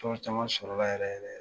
Tɔn caman sɔrɔla yɛrɛ yɛrɛ